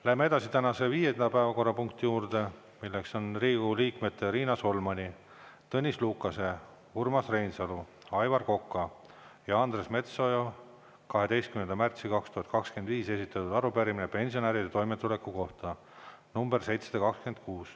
Lähme edasi tänase viienda päevakorrapunkti juurde, milleks on Riigikogu liikmete Riina Solmani, Tõnis Lukase, Urmas Reinsalu, Aivar Koka ja Andres Metsoja 12. märtsil 2025 esitatud arupärimine pensionäride toimetuleku kohta .